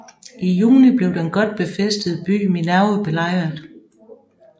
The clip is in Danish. I juni blev den godt befæstede by Minerve belejret